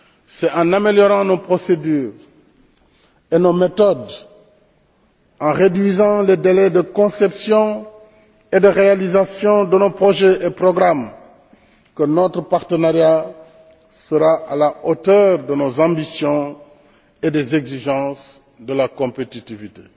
C'est en améliorant nos procédures et nos méthodes, en réduisant les délais de conception et de réalisation de nos projets et programmes que notre partenariat sera à la hauteur de nos ambitions et des exigences de la compétitivité.